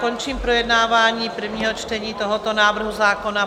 Končím projednávání prvního čtení tohoto návrhu zákona.